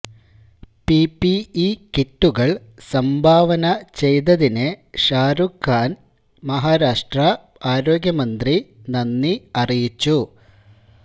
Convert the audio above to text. PPE കിറ്റുകൾ സംഭാവന ചെയ്തതിന് ഷാരൂഖ് ഖാന് മഹാരാഷ്ട്ര ആരോഗ്യ മന്ത്രി നന്ദി അറിയിച്ചു